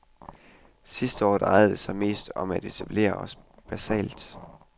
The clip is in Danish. Sidste år drejede det sig mest om at etablere os basalt.